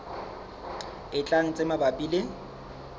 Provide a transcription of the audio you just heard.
e tlang tse mabapi le